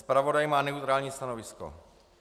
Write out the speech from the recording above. Zpravodaj má neutrální stanovisko.